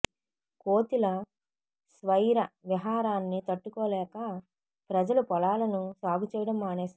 కోతుల స్వైర విహారాన్ని తట్టుకోలేక ప్రజలు పొలాలను సాగు చేయడం మానేశారు